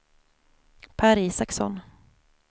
Per Isaksson